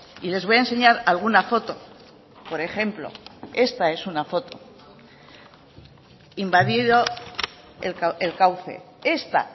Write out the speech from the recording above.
y les voy a enseñar alguna foto por ejemplo esta es una foto invadido el cauce esta